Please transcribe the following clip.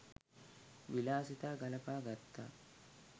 විලාසිතා ගලපා ගත්තා